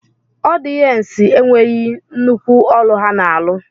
Ọdiyencu enweghim nnukwu ọlụ ha na alụ.